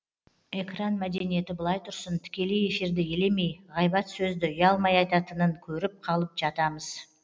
экран мәдениеті былай тұрсын тікелей эфирді елемей ғайбат сөзді ұялмай айтатынын көріп қалып жатамыз